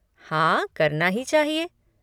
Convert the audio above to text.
हाँ, करना ही चाहिए।